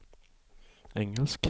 engelsk